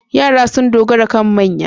Yara sun dogara kan manya.